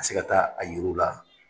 a se ka taa a yir'u la.